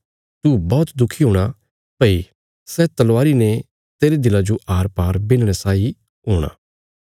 तू बौहत दुखी हूणा भई सै तलवारी ने तेरे दिला जो आरपार बिन्हणे साई हूणा